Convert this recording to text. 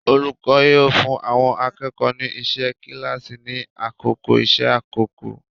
Olùkọ́ yóò fún àwọn akẹ́kọ̀ọ́ ni iṣẹ́ kíláàsì ni àkókò iṣẹ́ àkọ́kọ́.